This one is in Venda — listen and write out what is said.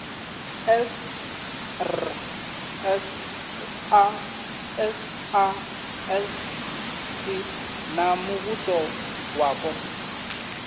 srsa sasc na muvhuso wapo